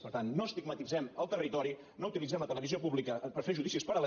per tant no estigmatitzem el territori no utilitzem la televisió pública per fer judicis paral